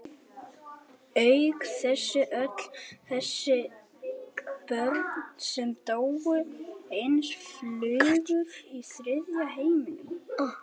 Auk þess öll þessi börn sem dóu eins og flugur í þriðja heiminum.